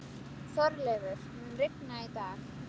Þorleifur, mun rigna í dag?